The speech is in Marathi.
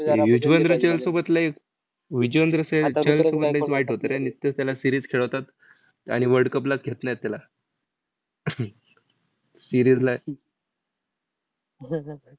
युजवेंद्र चहलसोबत लय युजवेंद्र चहल चहलसोबत लयच वाईट होतं रे. निस्त त्याला series खेळवतात आणि world cup ला घेत नाहीत त्याला. इरीरलय.